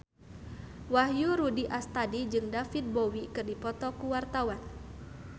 Wahyu Rudi Astadi jeung David Bowie keur dipoto ku wartawan